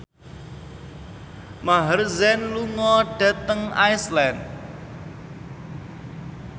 Maher Zein lunga dhateng Iceland